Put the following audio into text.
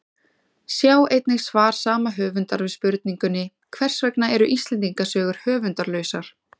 Sjá einnig svar sama höfundar við spurningunni Hvers vegna eru Íslendingasögur höfundarlausar?